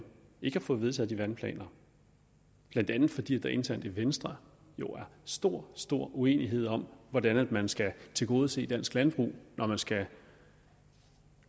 ikke at få vedtaget de vandplaner blandt andet fordi der internt i venstre er stor stor uenighed om hvordan man skal tilgodese dansk landbrug når man skal